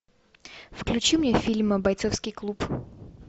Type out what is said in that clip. включи мне фильм бойцовский клуб